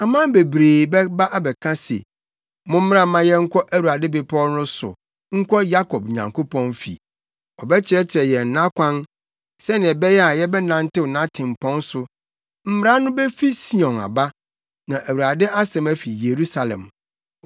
Aman bebree bɛba abɛka se, “Mommra mma yɛnkɔ Awurade bepɔw no so, nkɔ Yakob Nyankopɔn fi. Ɔbɛkyerɛkyerɛ yɛn nʼakwan sɛnea ɛbɛyɛ a yɛbɛnantew nʼatempɔn so.” Mmara no befi Sion aba, na Awurade asɛm afi Yerusalem.